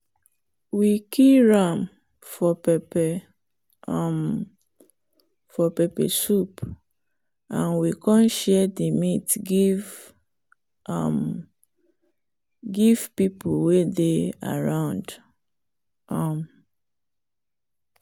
we kill ram for pepper um soup and we come share the meat give um people way they around. um